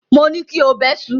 Mo ní kí o bẹṣu!